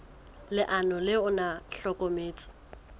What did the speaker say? leano le ona o hlokometse